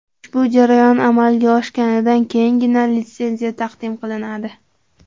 Ushbu jarayon amalga oshganidan keyingina litsenziya taqdim qilinadi.